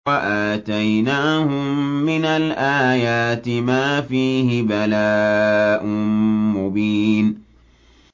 وَآتَيْنَاهُم مِّنَ الْآيَاتِ مَا فِيهِ بَلَاءٌ مُّبِينٌ